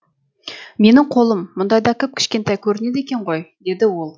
менің қолым мұндайда кіп кішкентай көрінеді екен ғой деді ол